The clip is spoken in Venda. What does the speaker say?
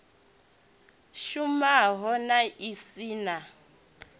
shumaho na i si na